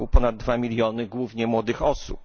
r. ponad 2 miliony głównie młodych osób.